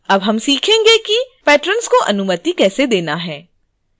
अब हम सीखेंगे कि patrons को अनुमति कैसे देना है